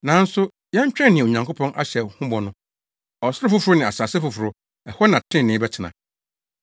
Nanso yɛtwɛn nea Onyankopɔn ahyɛ yɛn ho bɔ no, ɔsoro foforo ne asase foforo a ɛhɔ na trenee bɛtena.